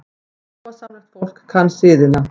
Sómasamlegt fólk kann siðina.